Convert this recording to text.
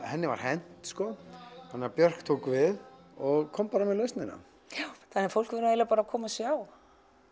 henni var hent þannig að Björk tók við og kom með lausnina fólk verður bara að koma og sjá